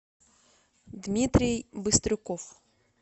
дмитрий быстрюков